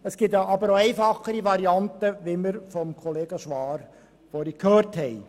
Es gibt aber auch einfachere Varianten, wie wir vorhin von Kollega Schwaar gehört haben.